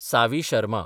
Saavi Sharma